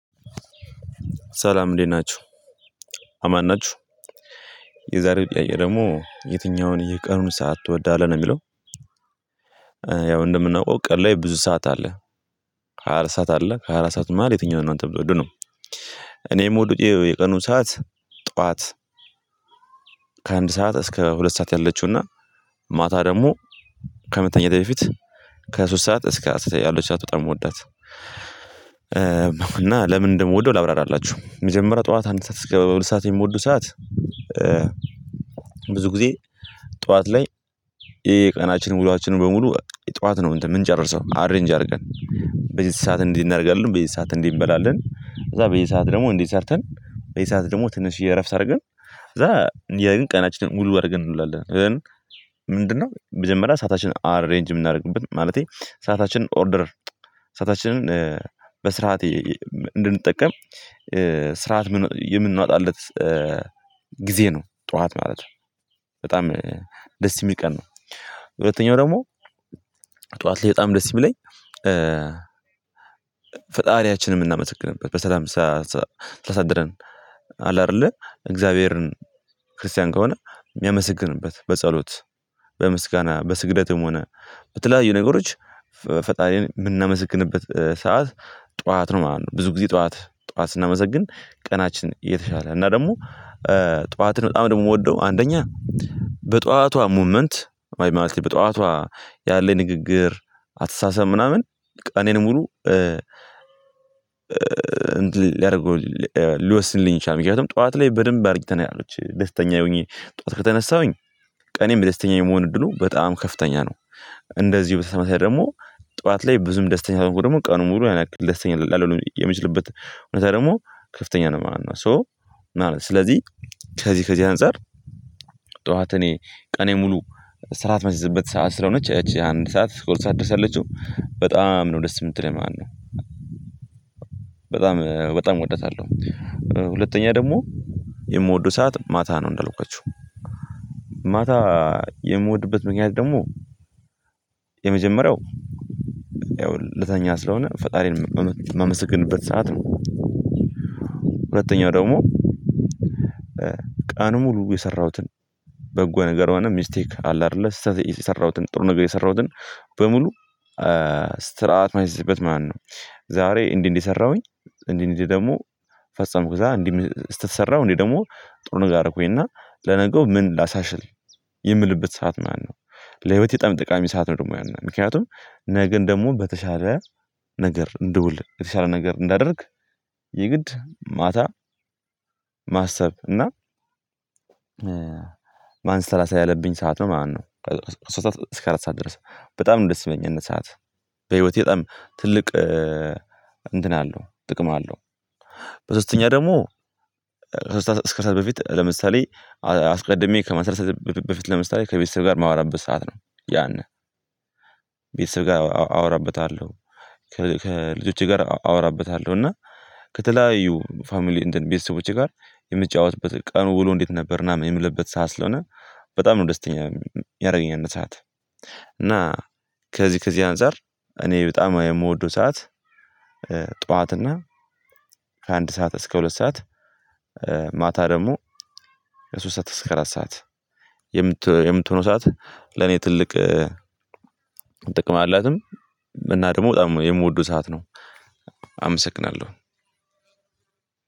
ሰላም እንዴት ናችሁ አማን ናችሁ የዛሬው ጥያቄ ደግሞ የትኛውን የቀኑን ሰዓት ትወዳለህ ነው የሚለው? ያው እንደምናውቀው ቀን ላይ ብዙ ሰዓት አለ። ሃያ አራት ሰዓት አለ ከሀያአራት መሃል የትኛውን ነው አንተም የምትወዱ ነው። እኔም የምወደው የቀኑ ሰዓት ጠዋት። ከአንድ ሰዓት እስከ ሁለት ሰዓት ያለችውና ማታ ደግሞ ከመተኛቴ በፊት ከሶስት ሰዓት እስከ አስር ያሉት ሰዓት በጣም እምወዳት። እና ለምን እንደምወደው ላብራራላችሁ። መጀመሪያው ጠዋት አንድ ሰዓት እስከ ሁለት ሰዓት የምወደው ሰዓት። ብዙ ጊዜ ጠዋት ላይ የቀናችንን ዉሎአችንን በሙሉ ጠዋት ነው የምንጨርሰው አሬንጅ አድርገን። በዚህ ሰዓት እንዲህ እናደርጋለን በዚህ ሰዓት እንዲህ እንበላለን። ከዛ በየሰዓት ደግሞ እንዲህ ሰርተን በየሰዓት ደግሞ ትንሽዬ እረፍት አድርገን ከዛ የን ቀናችንን ሙሉ አድርገን እንውላለን። ምንድነው? መጀመሪያ ሰአታችንን አሬንጅ የምናደርግበት ማለቴ ሰአታችንን ኦርደር ሳአታችንን በስርዓቴ እንድንጠቀም ስርዓት የምናወጣለት ጊዜ ነው ጠዋት ማለት ነው። በጣም ደስ የሚል ቀን ነው። ሁለተኛው ደግሞ ጠዋት ላየ በጣም ደስ ይሚለኝ። ፈጣሪያችንን የምናመሰግንበት በሰላም ስላሳድረን አለ አይደለ እግዚአብሔርን ክርስቲያን ከሆነ የሚያመሰግንበት በጸሎት በምስጋና በስግደትም ሆነ በተለያዩ ነገሮች ፈጣሪን የምናመስግንበት ሰዓት ጠዋት ነው ማለት ነው። ብዙ ጊዜ ጠዋት ጠዋት ስናመሰግን ቀናችን የተሻለ እና ደግሞ ጠዋትን በጣም ደግሞ የምወደው አንደኛ በጠዋቷ ሙመንት ማለት በጧዋቷ ያለ ንግግር አትሳሰብ ምናምን ቀኔን ሙሉ። እንድል ሊያደርገው ሊወስንልኝ ይችላል። ምክንያቱም ጠዋት ላይ በደንብ አርጊተናልች ደስተኛ ሆኜ ጠዋት ከተነሳሁኝ ቀኔም ደስተኛ የመሆን እድሉ በጣም ከፍተኛ ነው። እንደዚሁ በተመሳሳይ ደግሞ ጠዋት ላይ ብዙም ደስተኛ ካልሆንኩም ደግሞ ቀኑን ሙሉ ያነክል ደስተኛ ላልሆን የሚችልበት እውነታ ደግሞ ከፍተኛ ነው ማለት ነው። ሶ ማለት ነው ስለዚህ ከዚህ ከዚህ አንፃር። ጠዋት እኔ ቀኔ ሙሉ ስራአት የማሲይዝበት ሰዓት ስለሆነች እቺ አንድ ሰዓት እስከ ሁለት ሰዓት ያለችው በጣም ነው ደስ የምትለኝ ማለት ነው። በጣም በጣም እወዳታለሁ። ሁለተኛ ደግሞ የምወደው ሰዓት ማታ ነው። እንዳልኳቹህ ማታ የምወድበት ምክንያት ደግሞ የመጀመሪያው ያው ለተኛ ስለሆነ ፈጣሪን የማመሰግንበት ሰዓት ነው። ሁለተኛው ደግሞ ቀኑን ሙሉ የሰራሁትን በጎ ነገር ሆነ ሚስቴክ አለ አይደለ ስተት የሰራሁትን ጥሩ ነገር የሰራሁትን በሙሉ ስራአት የማይስይዝበት ማለት ነው። ዛሬ እንዲህ እንዲህ ሰራሁኝ እንዲህ እንዲህ ደግሞ ፈጸምኩት እንዲህ ስተት ሰራው እንዴ ደግሞ ጥሩ ነገር አረኩኝና ለነገው ምን ላሳሻሽል የምልበት ሰዓት ማለት ነው። ለህይወቴ ጥቃሚ ሰዓት ነው ደግሞ ያናል ምክንያቱም ነገን ደግሞ በተሻለ ነገር እንድውል በተሻለ ነገር እንዳደርግ የግድ ማታ ማሰብ እና ማንሰላሳ ያለብኝ ሰዓት ነው ማለት ነው። ከሶስት እስከ አራት ሰዓት ድረስ በጣም ነው ደስ የማለኝ ያንን ሰዓት በህይወቴ በጣም ትልቅ እንትን አለው ጥቅም አለው። በሶስተኛ ደግሞ ከስራ እስከ ሰዓት በፊት ለምሳሌ አስቀድሜ ከመስራት በፊት ለምሳሌ ከቤተሰብ ጋር የማወራበት ሰዓት ነው። ያንን ቤተሰብ ጋር አወራበታለሁ። ከልጆቼ ጋር አወራበታለሁ እና ከተለያዩ ፋሚሊ እንትን ቤተሰቦቼ ጋር የምትጫወትበት ቀኑ ውሎ እንዴት ነበር ምና ምን የምልበት ሰዓት ስለሆነ። በጣም ነው ደስተኛ ያረገኛል ያን ሰዓት። እና ከዚህ ከዚህ አንፃር እኔ በጣም የምወደው ሰዓት። ጠዋት እና ከአንድ ሰዓት እስከ ሁለት ሰዓት። ማታ ደግሞ ከሶስት ሰዓት አስከ አራት ሰዓት። የምትሆነው ሰዓት ለኔ ትልቅ ጥቅም አላትም። እና ደግሞ በጣም የምወደው ሰዓት ነው። አመሰግናለሁ።